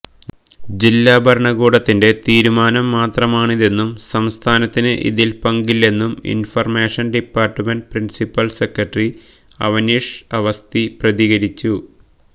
ജില്ലാ ഭരണകൂടത്തിന്റെ തീരുമാനം മാത്രമാണിതെന്നും സംസ്ഥാനത്തിന് ഇതില് പങ്കില്ലെന്നും information department principal secretary Avanish Awasthi പ്രതികരിച്ചു